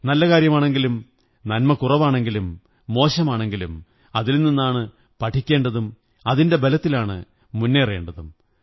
നല്ല കാര്യമാണെങ്കിലും നന്മ കുറവാണെങ്കിലും മോശമാണെങ്കിലും അതിൽ നിന്നാണ് പഠിക്കേണ്ടതും അതിന്റെ ബലത്തിലാണ് മുന്നേറേണ്ടതും